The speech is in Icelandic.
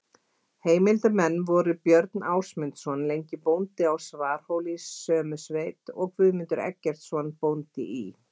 Heimildarmenn voru Björn Ásmundsson lengi bóndi á Svarfhóli sömu sveit og Guðmundur Eggertsson bóndi í